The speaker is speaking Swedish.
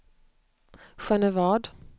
Genevad